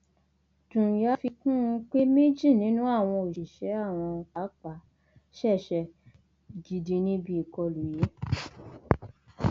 ṣùgbọn bí mo ṣe máa ń sọ ooreọfẹ ọlọrun ni kéèyàn ní ìlera nírú ọjọorí yìí ẹbùn ọlọrun ni